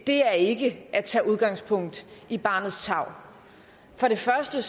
det er ikke at tage udgangspunkt i barnets tarv for det første